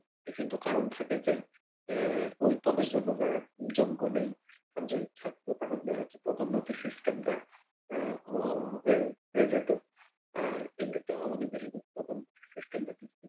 বিভিন্ন কারণ থাকে যে উম ওই পদের জন্য যারা যোগ্য নেই, কারণ যদি থাকতো তাহলে দেখা যাচ্ছে পদোন্নতির system টা ও হয়ে যেত আর এমনিতেও আমাদের দেশে কিন্তু পদোন্নতির system টা